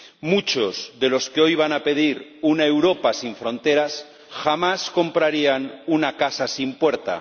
Muchos de los que hoy van a pedir una Europa sin fronteras jamás comprarían una casa sin puerta